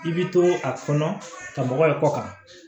I bi to a kɔnɔ ka mɔgɔ ye kɔ kan